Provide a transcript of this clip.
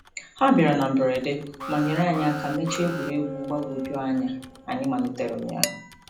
Ha bịara na mberede ma nyere anyị aka mechaa egwuregwu mgbagwojuanya anyị malitere ụnyaahụ.